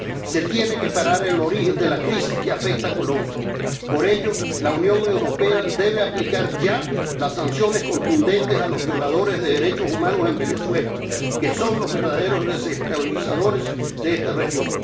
Se tiene que parar el origen de la crisis que afecta a Colombia. Por ello, la Unión Europea debe aplicar ya las sanciones contundentes a los violadores de derechos humanos en Venezuela, que son los verdaderos desestabilizadores de esta región.